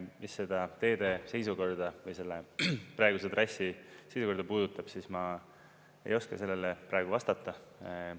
Mis seda teede seisukorda või selle praeguse trassi seisukorda puudutab, siis ma ei oska sellele praegu vastata.